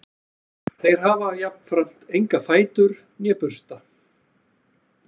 Þeir hafa jafnframt enga fætur né bursta.